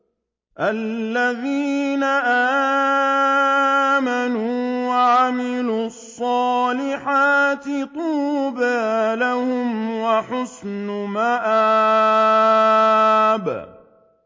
الَّذِينَ آمَنُوا وَعَمِلُوا الصَّالِحَاتِ طُوبَىٰ لَهُمْ وَحُسْنُ مَآبٍ